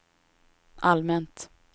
allmänt